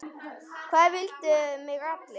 Það vildu mig allir.